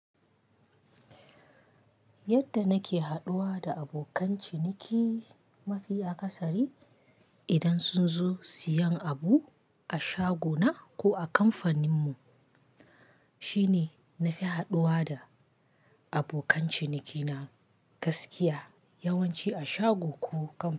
Yadda nake haɗuwa da abokan ciniki mafi akasari idan sun zo siyan abu a shaguna ko a kamfanin mu shine na fi haɗuwa da abokan ciniki na gaskiya yawanci a shago ko kamfani.